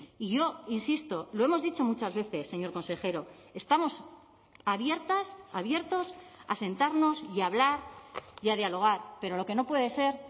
y yo insisto lo hemos dicho muchas veces señor consejero estamos abiertas abiertos a sentarnos y a hablar y a dialogar pero lo que no puede ser